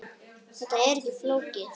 Þetta er ekki flókið kerfi.